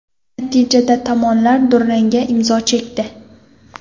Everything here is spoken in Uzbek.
Natijada tomonlar durangga imzo chekdi.